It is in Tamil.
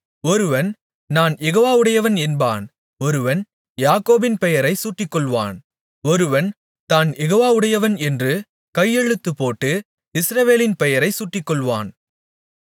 ஒருவன் நான் யெகோவாவுடையவன் என்பான் ஒருவன் யாக்கோபின் பெயரை சூட்டிக்கொள்வான் ஒருவன் தான் யெகோவாவுடையவன் என்று கையெழுத்துப்போட்டு இஸ்ரவேலின் பெயரைச் சூட்டிக்கொள்வான்